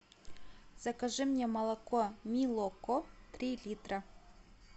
закажи мне молоко милоко три литра